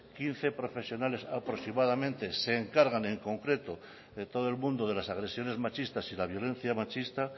quince profesionales aproximadamente se encargan en concreto de todo el mundo de las agresiones machistas y la violencia machista